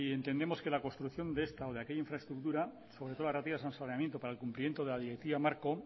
entendemos que la construcción de esta o aquella infraestructura sobre todo las relativas al saneamiento para el cumplimiento de la directiva marco